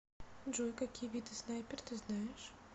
джой какие виды снайпер ты знаешь